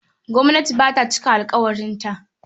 Gwamnati ba ta cika alƙawarinta.